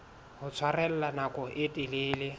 ho tshwarella nako e telele